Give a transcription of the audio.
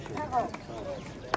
Sağ ol, sağ ol.